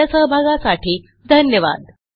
आपल्या सहभागासाठी धन्यवाद